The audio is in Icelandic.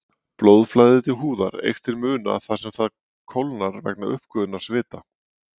Blóðflæði til húðar eykst til muna þar sem það kólnar vegna uppgufunar svita.